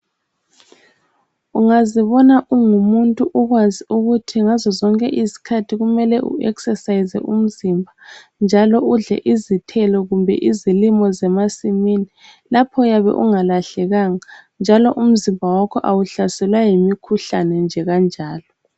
Ungazibona ungumuntu ukwazi ukuthi ngazo zonke izikhathi kumele u eksesayize umzimba, njalo udle izithelo kumbe izilimo zemasimini. Lapho uyabe ungalahlekanga, njalo umzimba wakho awuhlaselwa yimikhuhlane nje kanjalo.